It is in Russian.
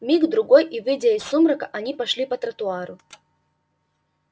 миг другой и выйдя из сумрака они пошли по тротуару